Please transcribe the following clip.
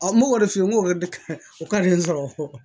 n m'o de f'i ye n ko o ka di n sɔrɔ